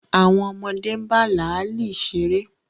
Àwọn ọmọdé ń bá láàlì ṣeré